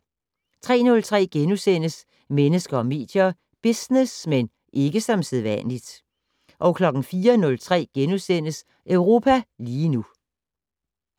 03:03: Mennesker og medier: Business - men ikke som sædvanligt * 04:03: Europa lige nu *